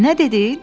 Nə dedin?